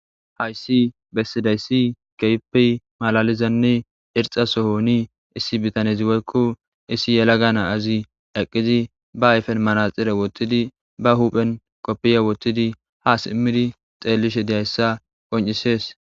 Hayssi bessidayssi keehippe malaalizanne irxxa sohoni issi bitanezi woykko issi yalaga na7azi eqqizi ba ayfen manaxxire wottidi ba huphen koppiya wothidi ha simmidi xeellishe deyayssa qoncisees.